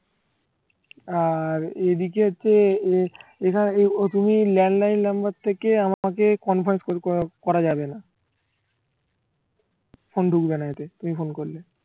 আর এদিকে হচ্ছে এএখানে ও তুমি landline number থেকে আমাকে conference call করা যাবে না ফোন ঢুকবে না এতে তুমি ফোন করলে